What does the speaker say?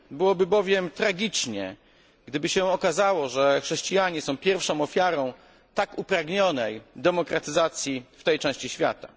Byłoby bowiem tragicznie, gdyby się okazało, że chrześcijanie są pierwszą ofiarą tak upragnionej demokratyzacji w tej części świata.